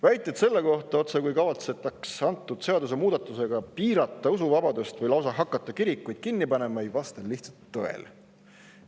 Väited selle kohta, otsekui kavatsetaks antud seadusemuudatusega piirata usuvabadust või lausa hakata kirikuid kinni panema, ei vasta lihtsalt tõele.